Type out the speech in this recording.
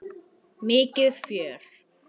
Mikið fjör.